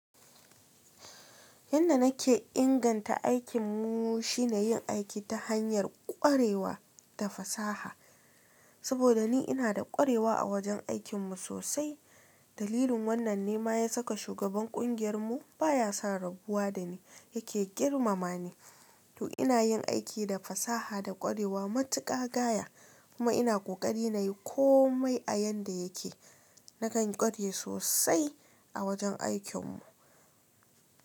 Yanda nake inganta aikin mu shine yin aiki ta hanyar kwarewa da fasaha. Saboda ni ina da kwarewa a wajen aikinmu sosai. Dalilin wannan ne ma ya saka shugaban kungiyar mu baya sa rabuwa da ni. Yake girmama ni to ina yin aiki da fasaha da kwarewa matuƙa gaya. Kuma ina kokari nayi komai a yanda yake. Nakan ƙware sosai a wajen aikinmu.